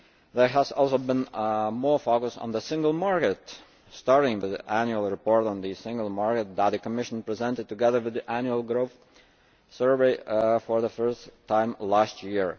There has also been more focus on the single market, starting with the annual report on the single market that the Commission presented together with the Annual Growth Survey for the first time last year.